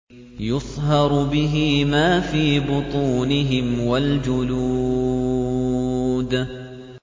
يُصْهَرُ بِهِ مَا فِي بُطُونِهِمْ وَالْجُلُودُ